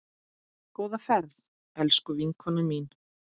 Góða ferð, elsku vinkona mín.